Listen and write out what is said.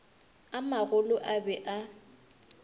a magolo a be a